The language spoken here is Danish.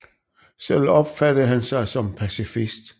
Selv opfattede han sig som pacifist